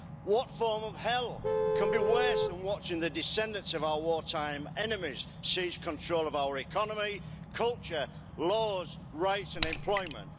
What form of hell can be worse than watching the descendants of our wartime enemies seize control of our economy, culture, laws, rights and employment?